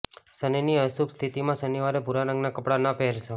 શનિની અશુભ સ્થિતિમાં શનિવારે ભૂરા રંગના કપડા ન પહેરશો